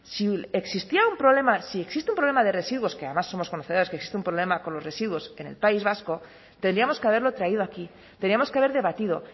si existía un problema si existe un problema de residuos que además somos conocedores que existe un problema con los residuos en el país vasco tendríamos que haberlo traído aquí teníamos que haber debatido